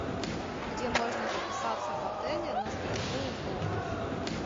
где можно записаться в отеле на стрельбу из лука